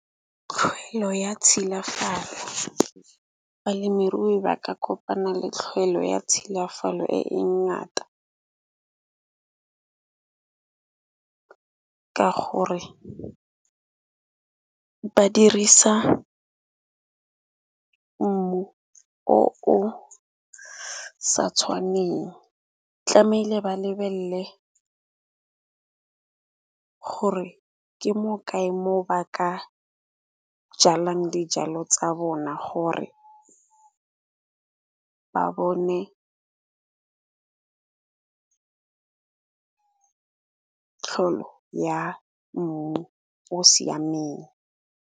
Tlhoelo ya tshilafalo balemirui ba ka kopana le tlhoelo ya tshilafalo e e ngata, ka gore ba dirisa mmu o o sa tshwaneng. Tlamele ba lebelle gore ke mo kae mo ba ka jalang dijalo tsa bona gore ba bone tlholo ya mmu o siameng.